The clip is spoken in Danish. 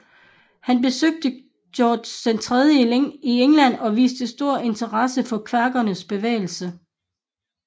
Han besøgte George III i England og viste stor interesse for kvækernes bevægelse